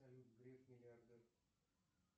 салют греф миллиардер